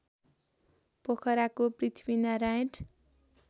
पोखराको Prithvinarayan